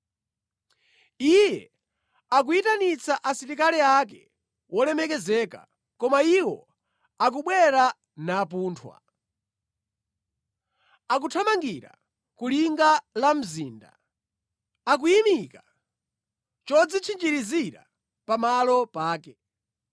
Iye akuyitanitsa asilikali ake wolemekezeka, koma iwo akubwera napunthwa. Akuthamangira ku linga la mzinda; akuyimika chodzitchinjirizira pamalo pake.